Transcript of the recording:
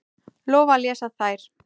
Lofa að lesa þær.